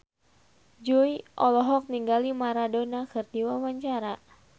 Jui olohok ningali Maradona keur diwawancara